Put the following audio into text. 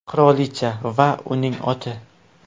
Qirolicha va uning oti.